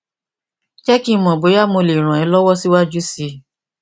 jé kí n mọ bóyá mo lè ràn é lọwọ síwájú sí i